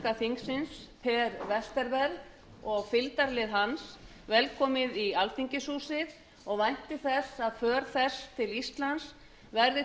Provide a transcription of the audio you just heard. ríkisþingsins per westerberg og fylgdarlið velkomið í alþingishúsið og vænti þess að för þeirra til íslands verði